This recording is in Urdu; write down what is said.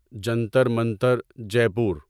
جنتر منتر جے پور